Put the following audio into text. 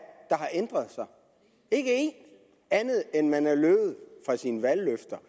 har ændret sig ikke en andet end at man er løbet fra sine valgløfter